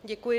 Děkuji.